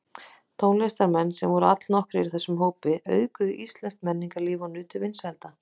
Tónlistarmenn, sem voru allnokkrir í þessum hópi, auðguðu íslenskt menningarlíf og nutu vinsælda.